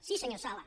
sí senyor sala